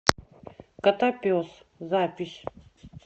котопес запись